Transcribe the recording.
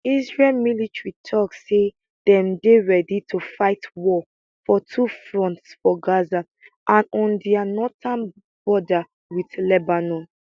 israel military tok say dem dey ready to fight war for two fronts for gaza and on dia northern border wit lebanon